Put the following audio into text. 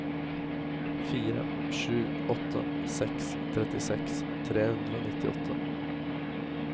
fire sju åtte seks trettiseks tre hundre og nittiåtte